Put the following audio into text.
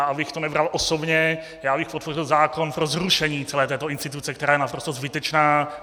A abych to nebral osobně, já bych podpořil zákon pro zrušení celé této instituce, která je naprosto zbytečná.